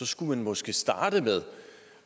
skulle man måske starte med